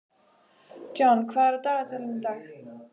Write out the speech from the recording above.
John, hvað er á dagatalinu í dag?